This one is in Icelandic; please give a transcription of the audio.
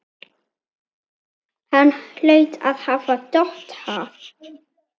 Hann hlaut að hafa dottað.